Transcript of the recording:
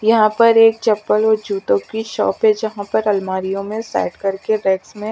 यहाँ पर एक चपल और जूतों कि शॉप है जहाँ पर अलमारि यो में सेट करके वेक्स में--